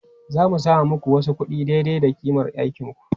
Zan samo muku wasu kuɗi daidai da ƙimar aikinku.